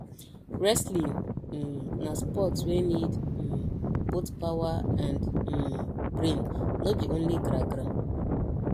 wrestling um na sport wey need um both power and um brain no be only gragra